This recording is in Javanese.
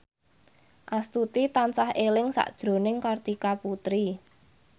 Astuti tansah eling sakjroning Kartika Putri